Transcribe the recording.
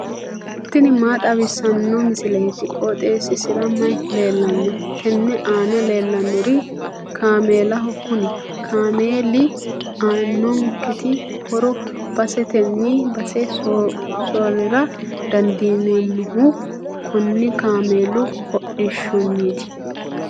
tini maa xawissanno misileeti? qooxeessisera may leellanno? tenne aana leellannori kaameelaho. kuni kaameeli aannonketi horo basetenni base soorrira dandiineemmohu konni kaameelu hodhishshinniiti.